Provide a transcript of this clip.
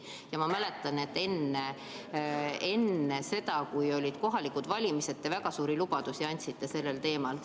Ma mäletan, et enne seda, kui olid kohalikud valimised, te andsite väga suuri lubadusi sellel teemal.